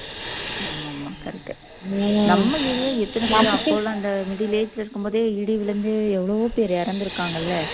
ஆமா ஆமா correct நீங்க நம்ம area ல எத்தன பேரு அப்போ எல்லாம் இந்த middle age ல இருக்கும் போதே இடி விழுந்து எவ்வளவோ பேர் இறந்திருக்காங்கல்ல